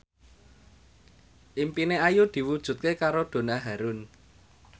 impine Ayu diwujudke karo Donna Harun